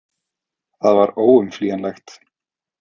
Það var óumflýjanlegt.